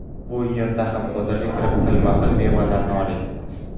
Bu yerda ham bozorga kirib, xilma-xil mevalardan oling.